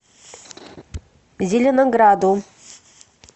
зеленограду